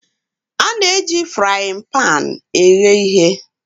A na-eji ite ighe eghe ihe.